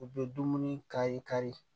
U bɛ dumuni kari kari